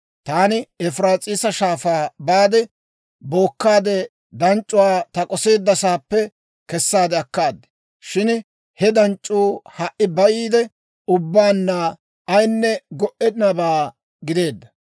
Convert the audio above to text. Taani Efiraas'iisa Shaafaa baade, bookkaade, danc'c'uwaa ta k'oseeddasaappe kessaade akkaad. Shin he danc'c'uu ha"i bayiide, ubbaanna ayinne go"ennabaa gideedda.